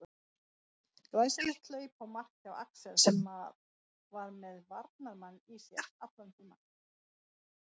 Glæsilegt hlaup og mark hjá Axel sem að var með varnarmann í sér allan tímann.